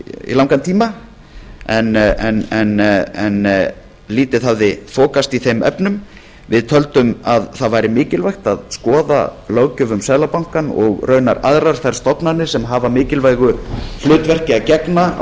í langan tíma en lítið hafði þokast í þeim efnum við töldum mikilvægt að skoða löggjöf um seðlabankanna og raunar aðrar þær stofnanir sem hafa mikilvægu hlutverki að gegna á